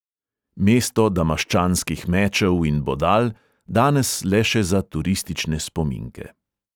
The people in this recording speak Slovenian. Mesto damaščanskih mečev in bodal, danes le še za turistične spominke.